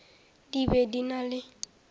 di be di na le